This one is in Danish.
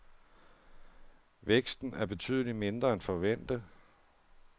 Væksten er betydeligt mindre end forventet.